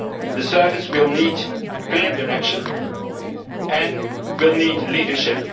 The service will need clear direction and will need leadership.